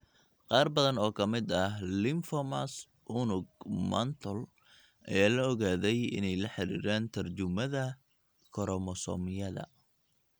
Qaar badan oo ka mid ah lymphomas unug mantle ayaa la ogaaday inay la xiriiraan tarjumaada koromosoomyada.